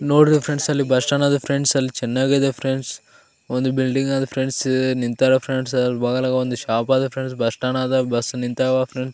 ನೋಡ್ಬೇಕು ಫ್ರೆಂಡ್ಸ್ ಅಲ್ಲಿ bus stand ಅದ ಫ್ರೆಂಡ್ಸ್ ಅಲ್ಲಿ ಚೆನ್ನಾಗಿದೆ ಫ್ರೆಂಡ್ಸ್ ಒಂದು ಬಿಲ್ಡಿಂಗ್ ಆದ ನಿಂತಾರ ಫ್ರೆಂಡ್ಸ್ ಅಲ್ಲ್ ಬಹಳ ಒಂದು ಶೋಪ್ ಆದ ಫ್ರೆಂಡ್ಸ್ ಬಸ್ಸ್ ಸ್ಟ್ಯಾಂಡ್ ಗ ಬಸ್ಸ್ ನಿಂತಾವ ಫ್ರೆಂಡ್ಸ್ .